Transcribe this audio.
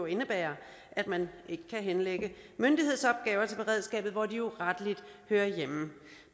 indebærer at man ikke kan henlægge myndighedsopgaver til beredskabet hvor de jo rettelig hører hjemme